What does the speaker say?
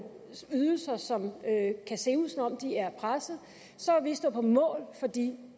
ydelser som kan se ud som om de er presset vil stå på mål for de